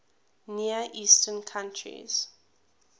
near eastern countries